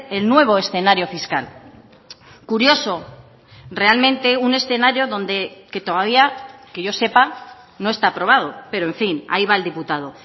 el nuevo escenario fiscal curioso realmente un escenario donde que todavía que yo sepa no está aprobado pero en fin ahí va el diputado